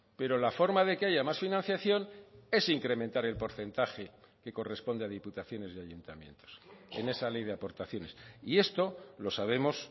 pero la forma de que haya más financiación es incrementar el porcentaje que corresponde a diputaciones y ayuntamientos en esa ley de aportaciones y esto lo sabemos